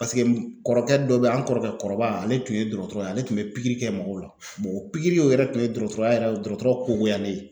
paseke kɔrɔkɛ dɔ be ye an kɔrɔkɛ kɔrɔba ale tun ye dɔrɔtɔrɔ ye ale tun be pigiri kɛ mɔgɔw la bɔn o pigiriw o yɛrɛ tun ye dɔgɔtɔrɔya yɛrɛ ye dɔgɔtɔrɔ kogoya ne ye